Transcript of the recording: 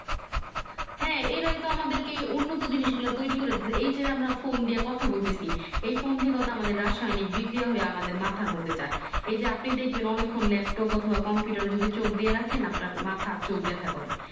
হ্যাঁ এরাই তো আমাদেরকে উন্নত জিনিস গুলো তৌরি দিচ্ছে এই যে আমরা Phone দিয়া কথা বলতেছি এই Phone টি কত আমাদের রাসায়নিক বিক্রিয়া হয়ে আমাদের মাথার মধ্যে যাই এই যে আপনি দেখবেন অনেক্ষন Laptop অথবা Computer যদি চোখ দিয়ে রাখেন নআপনার মাথা চোখ ব্যাথা করে